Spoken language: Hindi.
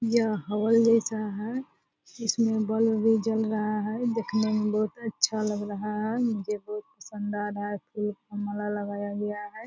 यह हॉल जैसा है इसमें बल्ब भी जल रहा है देखने में बहुत अच्छा लग रहा है मुझे बहुत पसंद आ रहा है फूल का माला लगाया गया है।